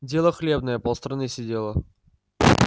дело хлебное полстраны сидело